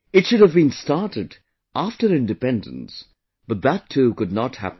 It should have been started after independence, but that too could not happen